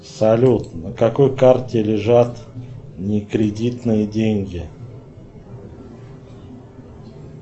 салют на какой карте лежат не кредитные деньги